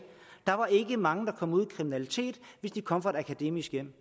der var ikke mange der kom ud i kriminalitet hvis de kom fra et akademisk hjem